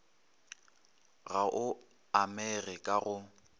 ga o amege ka go